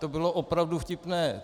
To bylo opravdu vtipné.